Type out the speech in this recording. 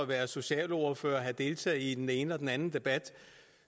været socialordfører og have deltaget i den ene og den anden debat